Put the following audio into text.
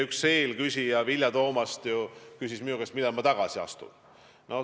Üks eelküsija, Vilja Toomast, küsis minu käest, millal ma tagasi astun.